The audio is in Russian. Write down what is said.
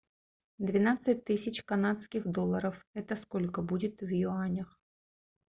двенадцать тысяч канадских долларов это сколько будет в юанях